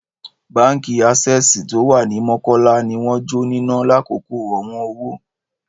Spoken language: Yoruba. Báńkì Access tó wà ní Mọ́kọ́lá ni wọ́n jó níná lákòókò ọ̀wọ́n owó.